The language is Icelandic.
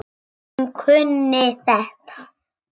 Hún kunni þetta.